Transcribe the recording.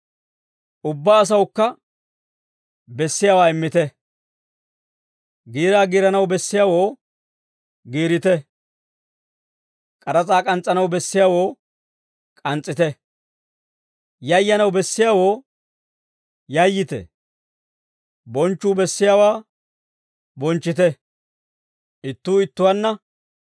Ubbaa asawukka bessiyaawaa immite. Giiraa giiranaw bessiyaawoo giirite; k'aras'aa k'ans's'anaw bessiyaawoo k'ans's'ite; yayyanaw bessiyaawoo yayyite; bonchchuu bessiyaawaa bonchchite.